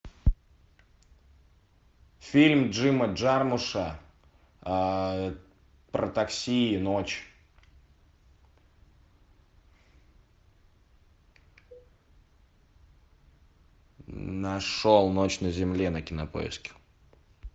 фильм джима джармуша про такси и ночь нашел ночь на земле на кинопоиске